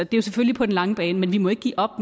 det er selvfølgelig på den lange bane men vi må ikke give op